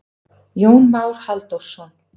Jón Már Halldórsson.